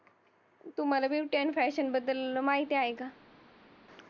तुम्हाला beauty and fashion बद्दल माहिती आहे का?